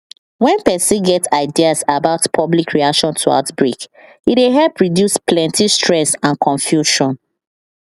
when person get ideas about public reaction to outbreak e dey help reduce plenty stress and confusion